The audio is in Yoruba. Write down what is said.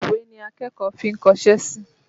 Ìwé ni akẹ́kọ̀ọ́ fi ń kọṣẹ́ sí.